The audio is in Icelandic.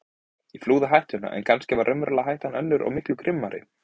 Ég flúði hættuna en kannski var raunverulega hættan önnur og miklu grimmari.